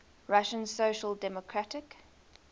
russian social democratic